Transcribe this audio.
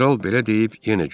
Kral belə deyib yenə güldü.